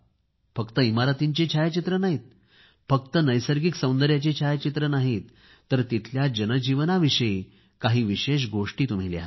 फक्त इमारतींची छायाचित्रे नाहीत फक्त नैसर्गिक सौदर्यांची छायाचित्रे नाहीत तर तिथल्या जनजीवनाविषयी काही विशेष गोष्टी तुम्ही लिहा